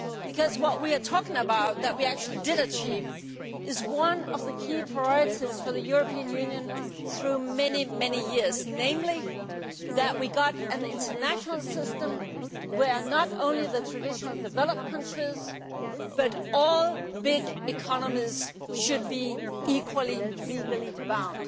Because what we are talking about what we actually did achieve has been one of the key priorities for the European Union for many years, namely achieving an international system in which not only the traditionally developed countries but all the big economies should be equally legally bound.